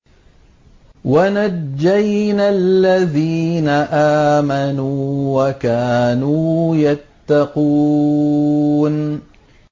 وَنَجَّيْنَا الَّذِينَ آمَنُوا وَكَانُوا يَتَّقُونَ